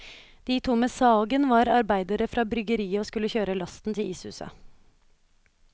De to med sagen var arbeidere fra bryggeriet og skulle kjøre lasten til ishuset.